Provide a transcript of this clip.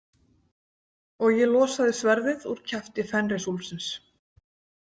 Og ég losaði sverðið úr kjafti Fenrisúlfsins.